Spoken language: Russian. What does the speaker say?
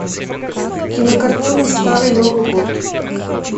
кинокартина старый новый год